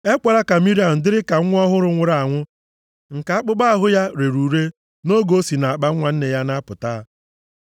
Ekwela ka Miriam dịrị ka nwa ọhụrụ nwụrụ anwụ nke akpụkpọ ahụ ya rere ure nʼoge o si nʼakpanwa nne ya na-apụta.”